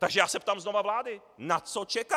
Takže já se ptám znova vlády - na co čeká?